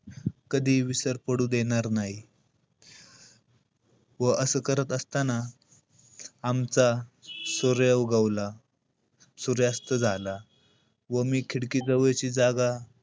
कधीही विसर पडू देणार नाही. व असं करत असताना आमचा सूर्य उगवला. सूर्यास्त झाला. व मी खिडकी जवळची जागा,